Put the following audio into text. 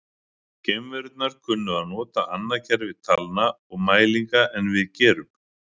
Geimverurnar kynnu að nota annað kerfi talna og mælinga en við gerum.